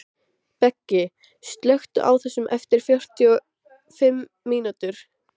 Beggi, slökktu á þessu eftir fjörutíu og fimm mínútur.